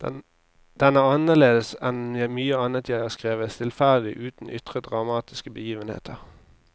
Den er annerledes enn mye annet jeg har skrevet, stillferdig, uten ytre dramatiske begivenheter.